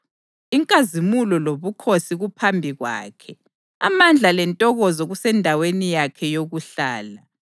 Inkazimulo lobukhosi kuphambi Kwakhe Amandla lentokozo kusendaweni yakhe yokuhlala.